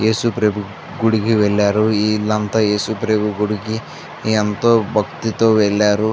యేసు ప్రభు గుడికి వెళ్లారు ఈల్లంతా యేసు ప్రభు గుడికి ఎంతో భక్తి తో వెళ్లారు.